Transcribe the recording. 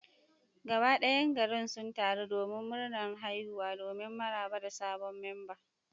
Gaba dayan garin sun taru domin murnar haihuwa domin maraba da sabon memba.